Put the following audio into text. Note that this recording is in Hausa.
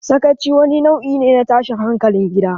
Sakaci wani nau'i ne na tashin hankalin gida.